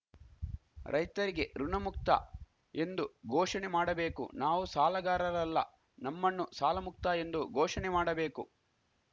ರೈತರಿಗೆ ಋಣ ಮುಕ್ತ ಎಂದು ಘೋಷಣೆ ಮಾಡಬೇಕು ನಾವು ಸಾಲಗಾರರಲ್ಲ ನಮ್ಮಣ್ಣು ಸಾಲಮುಕ್ತ ಎಂದು ಘೋಷಣೆ ಮಾಡಬೇಕು